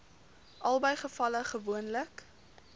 albei gevalle gewoonlik